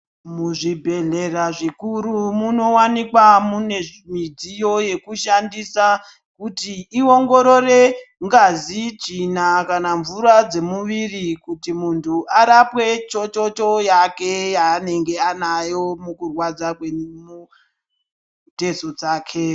Muzvibhedhleya zvikuru munowanikwa mune midziyo yekushandisa kuti iongorore ngazi, tsvina kana mvura dzemuviri kuti muntu arapwe chochocho yane yaanenge anayo mumitezo dzake.